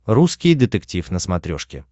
русский детектив на смотрешке